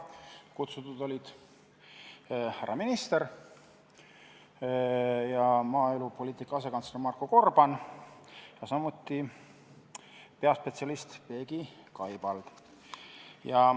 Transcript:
Kutsutud olid härra minister ja maaelupoliitika asekantsler Marko Gorban, samuti peaspetsialist Peegi Kaibald.